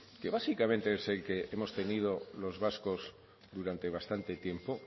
que básicamente es el que hemos tenido los vascos durante bastante tiempo